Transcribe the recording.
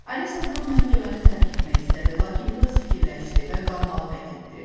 Alisa durub məhkəməni tərk etmək istədi, lakin biraz fikirləşdi və qalmağı qət etdi.